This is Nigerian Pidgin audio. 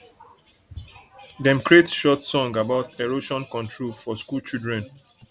dem create short song about erosion control for school children